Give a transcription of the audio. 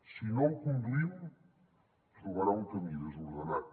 si no ho conduïm trobarà un camí desordenat